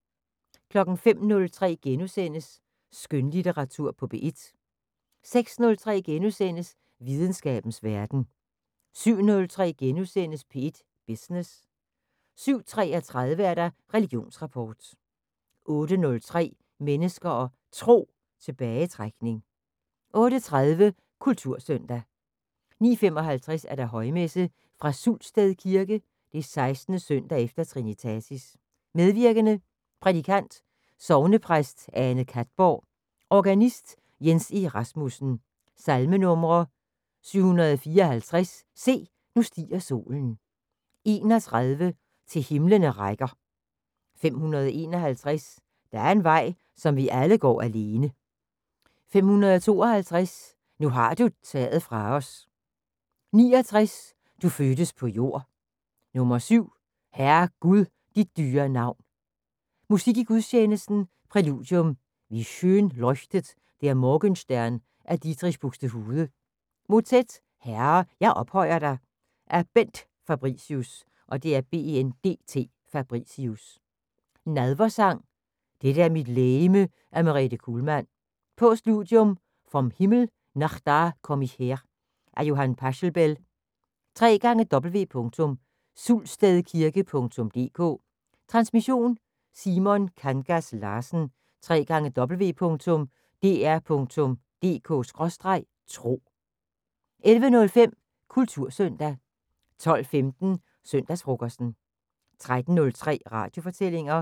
05:03: Skønlitteratur på P1 * 06:03: Videnskabens Verden * 07:03: P1 Business * 07:33: Religionsrapport 08:03: Mennesker og Tro: Tilbagetrækning 08:30: Kultursøndag 09:55: Højmesse - Fra Sultsted Kirke. 16. søndag efter trinitatis. Medvirkende: Prædikant: Sognepræst Ane Katborg. Organist: Jens E. Rasmussen. Salmenumre: 754: "Se, nu stiger solen". 31: "Til himlene rækker". 551: "Der er en vej, som vi alle går alene". 552: "Nu har du taget fra os". 69: "Du fødtes på jord". 7: "Herre Gud, dit dyre navn". Musik i gudstjenesten: Præludium: "Wie schön leuchtet der morgenstern"af Dietrich Buxtehude Motet: "Herre, jeg ophøjer dig "af Bendt Fabricius. Nadversang: "Dette er mit legeme" af Merete Kuhlmann. Postludium: "Vom Himmel nach da komm ich her" af Johann Pachelbel. www.sulstedkirke.dk Transmission: Simon Kangas Larsen. www.dr.dk/tro 11:05: Kultursøndag 12:15: Søndagsfrokosten 13:03: Radiofortællinger